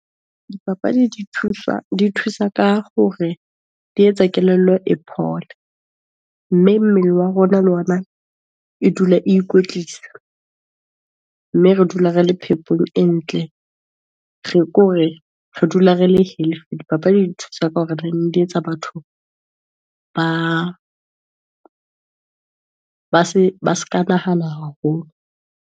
Dipapadi di thusa ka hore di etsa kelello e phole, mme mmele wa rona le ona e dula ikwetlisa, mme re dula re le phepong e ntle, ke hore re dula re le healthy. Dipapadi di nthusa ka hore , di etsa batho ba se ke ba nahana haholo.